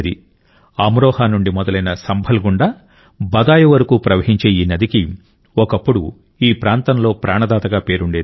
అమ్రోహా నుండి మొదలై సంభల్ గుండా బదాయూ వరకు ప్రవహించే ఈ నదికి ఒకప్పుడు ఈ ప్రాంతంలో ప్రాణదాతగా పేరుండేది